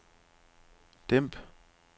dæmp